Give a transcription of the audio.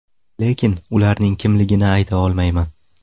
Lekin, ularning kimligini ayta olmayman.